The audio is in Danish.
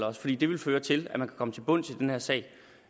os fordi det ville føre til at man komme til bunds i den her sag det